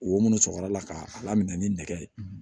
Wo minnu cɛkɔrɔla k'a lamini ni nɛgɛ ye